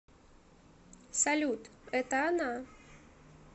салют это она